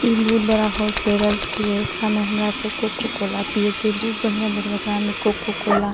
ई बहुत बड़ा होलसेलर छे येकरा में हमरा सब कोको कोला पिए छे बहुत बढ़िया येकरा में कोको कोला --